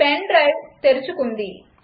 pen drive తెరుచుకుంది